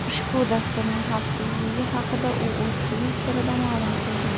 Ushbu dasturning xavfliligi haqida u o‘z Twitter’ida ma’lum qildi .